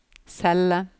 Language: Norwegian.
celle